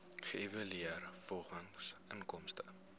geëvalueer volgens inkomste